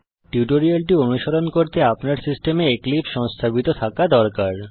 এই টিউটোরিয়াল অনুসরণ করতে আপনার সিস্টেমে এক্লিপসে সংস্থাপিত থাকা দরকার